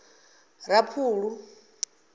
raphulu